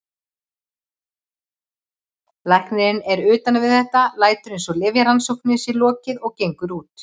Læknirinn er utan við þetta, lætur eins og lyfjarannsókninni sé lokið og gengur út.